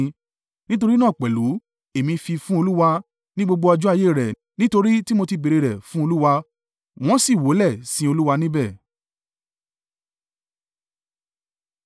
Nítorí náà pẹ̀lú, èmi fi í fún Olúwa; ní gbogbo ọjọ́ ayé rẹ̀: nítorí tí mo ti béèrè rẹ̀ fún Olúwa.” Wọn si wólẹ̀ sin Olúwa níbẹ̀.